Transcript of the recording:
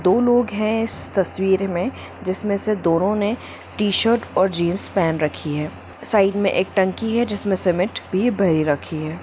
दो लोग हैं इस तस्वीर में जिसमे से दोनों ने टी-शर्ट और जींस पहन रखी हैं साइड में एक टंकी हैं जिसमें सीमेंट भरी रखी हैं।